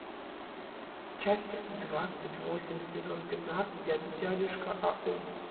часть двадцать восемь сезон пятнадцать дядюшка ау